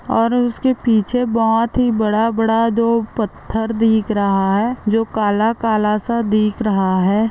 और इसके पीछे बहुत ही बड़ा-बड़ा दो पत्थर दिख रहा है जो काला-काला सा दिख रहा है।